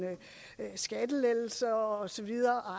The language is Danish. skattelettelser og